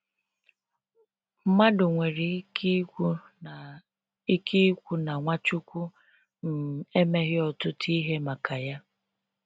mmadụ nwere ike kwu na ike kwu na Nwachukwu um emeghị ọtụtụ ihe maka ya.